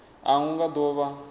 a hu nga do vha